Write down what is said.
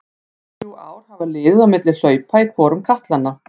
Tvö til þrjú ár hafa liðið á milli hlaupa í hvorum katlanna.